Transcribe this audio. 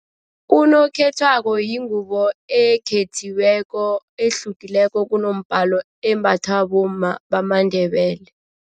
Unokhethwako yingubo ekhethiweko ehlukileko kunombalo embathwa bomma bamaNdebele.